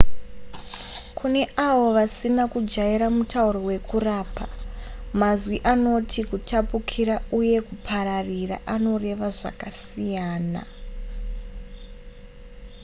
kune avo vasina kujaira mutauro wekurapa mazwi anoti kutapukira uye kupararira anoreva zvakasiyana